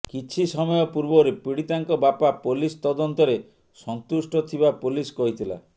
କିଛି ସମୟ ପୂର୍ବରୁ ପୀଡ଼ିତାଙ୍କ ବାପା ପୋଲିସ ତଦନ୍ତରେ ସନ୍ତୁଷ୍ଟ ଥିବା ପୋଲିସ କହିଥିଲା